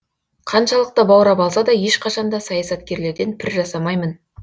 қаншалықты баурап алса да ешқашан да саясаткерлерден пір жасамаймын